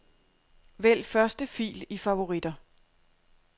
Vælg første fil i favoritter.